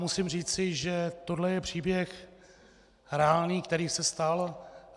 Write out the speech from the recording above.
Musím říci, že tohle je příběh reálný, který se stal.